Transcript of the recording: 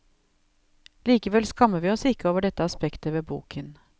Likevel skammer vi oss ikke over dette aspektet ved boken.